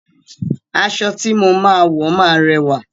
Aṣọ tí mo máa wo ma rẹwà.